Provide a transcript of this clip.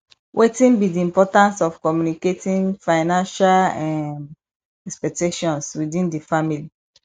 wetin be di importance of communicating financial um expectations within di family